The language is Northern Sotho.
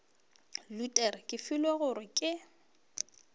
luthere ke filwe gore ke